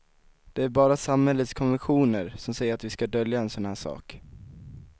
Det är bara samhällets konventioner som säger att vi ska dölja en sådan här sak.